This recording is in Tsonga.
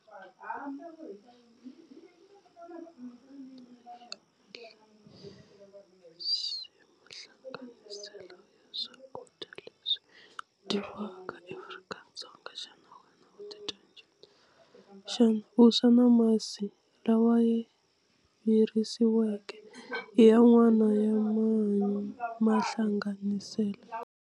Leswi mahlanganiselo ya swakudya leswi dya vanghana Afrika-Dzonga xana u dyondza xana vuswa na masi lawa ya virisiweke i ya n'wana ya mahanya mahlanganiselo.